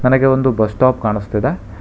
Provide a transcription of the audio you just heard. ನನಗೆ ಒಂದು bus stop ಕಾಣಿಸ್ತಿದೆ.